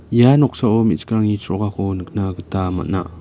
ia noksao me·chikrangni chrokako nikna gita man·a.